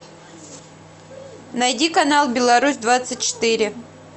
найди канал беларусь двадцать четыре